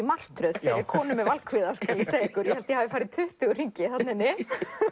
martröð fyrir konu með valkvíða skal ég segja ykkur ég held ég hafi farið tuttugu hringi þarna inni